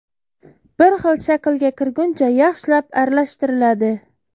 Bir xil shaklga kirguncha yaxshilab aralashtiriladi.